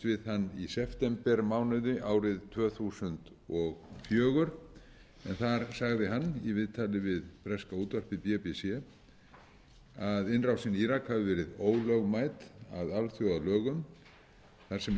við hann í septembermánuði árið tvö þúsund og fjögur en þar sagði hann í viðtali við breska útvarpið bbc að innrásin í írak hafi verið ólögmæt að alþjóðalögum þar sem